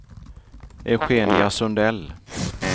Eugenia Sundell